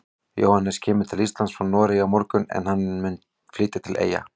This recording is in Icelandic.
Jóhannes kemur til Íslands frá Noregi á morgun en hann mun flytja til Eyja.